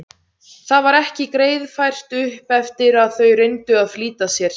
Það var ekki greiðfært upp eftir en þau reyndu að flýta sér.